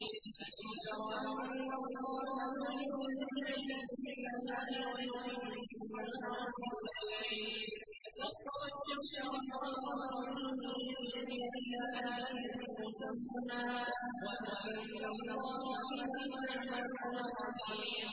أَلَمْ تَرَ أَنَّ اللَّهَ يُولِجُ اللَّيْلَ فِي النَّهَارِ وَيُولِجُ النَّهَارَ فِي اللَّيْلِ وَسَخَّرَ الشَّمْسَ وَالْقَمَرَ كُلٌّ يَجْرِي إِلَىٰ أَجَلٍ مُّسَمًّى وَأَنَّ اللَّهَ بِمَا تَعْمَلُونَ خَبِيرٌ